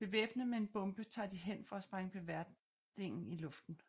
Bevæbnet med en bombe tager de hen for at sprænge beverdingen i luften